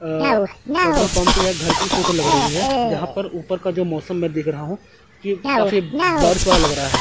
अ petrol pump यह घर की फ़ोटो लग रही है जहाँ पर ऊपर का जो मौसम मैं देख रहा हूँ की काफी बारिश वाला लग रहा है।